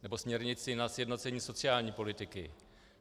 Nebo směrnici na sjednocení sociální politiky.